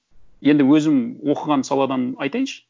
енді өзім оқыған саладан айтайыншы